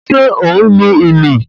Ṣé ó ń lu ìlù?